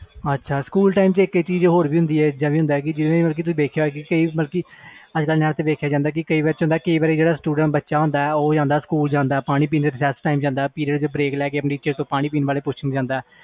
school time ਇਕ ਚੀਜ਼ ਹੋਰ ਵੀ ਹੁੰਦੀ ਆ ਜਿਵੇ ਬੱਚਾ ਪਾਣੀ ਪੀਣ ਜਾਂਦਾ ਜਾ Recess time ਜਾਂਦਾ ਜਾ ਜਦੋ period ਵਿੱਚੋ break ਲੈ ਕੇ ਜਾਂਦਾ